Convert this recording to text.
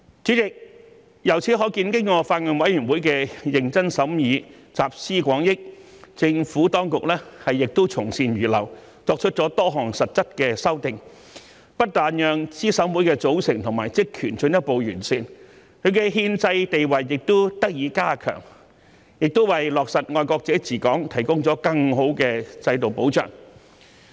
主席，由此可見，經過法案委員會的認真審議，集思廣益，政府當局亦從善如流，作出多項實質的修訂，不但讓資審會的組成和職權進一步完善，其憲制地位也得以加強，也為落實"愛國者治港"提供了更好的制度保障。